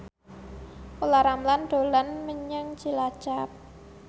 Olla Ramlan dolan menyang Cilacap